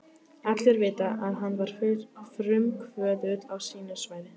Allir vita, að hann var frumkvöðull á sínu sviði.